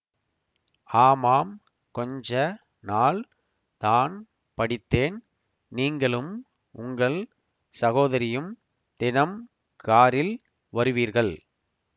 ஆமாம் கொஞ்ச நாள் தான் படித்தேன் நீங்களும் உங்கள் சகோதரியும் தினம் காரில் வருவீர்கள்